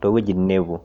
teweji nepuo.